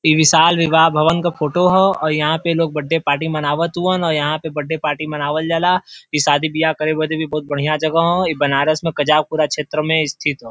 विशाल विवाह क भवन का फोटो ह और यहाँ पे लोग बड्डे पार्टी मनावत हउवन और यहाँ पे बड्डे पार्टी मनावल जाला ई शादी बियाह करे लगी भी बदिल भी बढ़िया जगह हो ई बनारस में कजाकपुरा में स्थित हो।